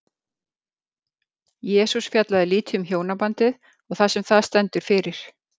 Jesús fjallaði lítið um hjónabandið og það sem það stendur fyrir.